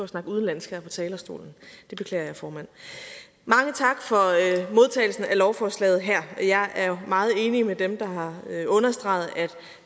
snakke udenlandsk her på talerstolen det beklager jeg formand mange tak for modtagelsen af lovforslaget her jeg er meget enig med dem der har understreget at